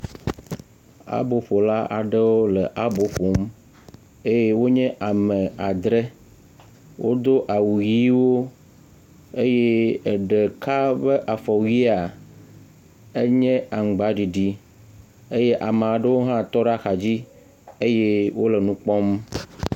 Aboƒola aɖewo le abo ƒom eye wonye ame adrɛ. Wodo awu ʋiwo eye ɖeka ƒe afɔwuia enye aŋgbaɖiɖi eye ame aɖewo hã tɔ ɖe axa dzi eye wole nu kpɔm.